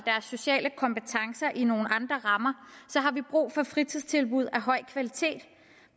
sociale kompetencer i nogle andre rammer har vi brug for fritidstilbud af høj kvalitet